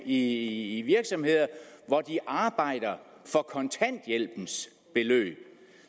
i virksomheder hvor de arbejder for kontanthjælpens beløb